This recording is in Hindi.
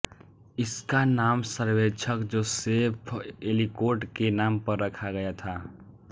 इसका नाम सर्वेक्षक जोसेफ एलीकोट के नाम पर रखा गया था